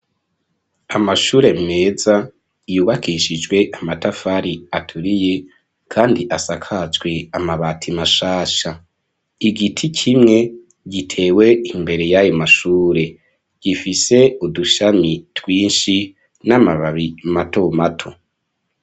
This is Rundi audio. Amashure meza yubakishijwe amatafari aturiye kandi asakajwe amabati mashasha, igiti kimwe gitewe imbere y'ayo mashure, gifise udushami twinshi n'amababi matomato.